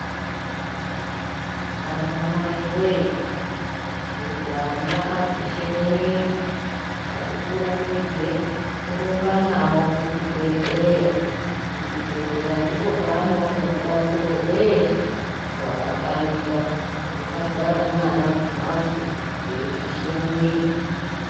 Anamai weee kuti ana apishe mwiri ngatikurumidze kurumba nawo kuchibhedhleya, kuchibhedleya ndiko kwaanoone rubatsir o rwese rwakafanira. Tisagara nevana kumbatso eipishe mwiri.